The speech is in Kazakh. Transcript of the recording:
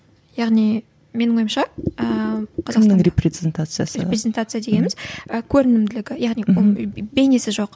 яғни менің ойымша ыыы репрезентация дегеніміз і көрінімділігі яғни оның бейнесі жоқ